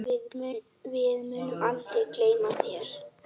Við munum aldrei gleyma þér.